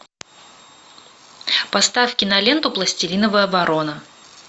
поставь киноленту пластилиновая ворона